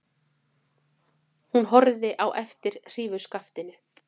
Hún horfði á eftir hrífuskaftinu.